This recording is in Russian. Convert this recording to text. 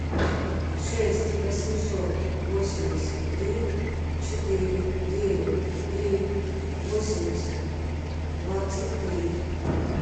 шесть восемьсот восемьдесят три четыре девять три восемьдесят двадцать три